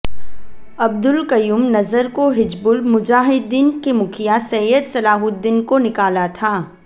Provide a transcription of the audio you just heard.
अब्दुल कयूम नजर को हिजबुल मुजाहिदीन के मुखिया सैयद सलाहुद्दीन को निकाला था